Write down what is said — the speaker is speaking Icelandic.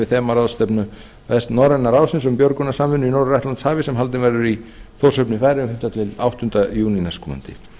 þemaráðstefnu vestnorræna ráðsins um björgunarsamvinnu í norður atlantshafi sem haldin verður í þórshöfn í færeyjum til áttunda júní næstkomandi